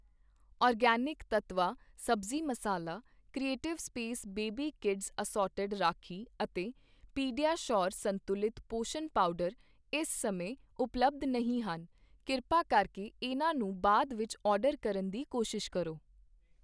organic Tattva sabzi masala, creative space baby kids assorted rakhi ਅਤੇ pediasure ਸੰਤੁਲਿਤ ਪੋਸ਼ਣ ਪਾਊਡਰ ਇਸ ਸਮੇਂ ਉਪਲੱਬਧ ਨਹੀਂ ਹਨ, ਕਿਰਪਾ ਕਰਕੇ ਇਹਨਾਂ ਨੂੰ ਬਾਅਦ ਵਿੱਚ ਆਰਡਰ ਕਰਨ ਦੀ ਕੋਸ਼ਿਸ਼ ਕਰੋ